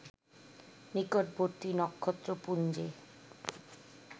নিকটবর্তী নক্ষত্রপুঞ্জে